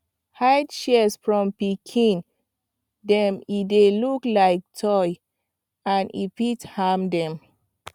hide shears from pikin dem e dey look like toy and fit harm dem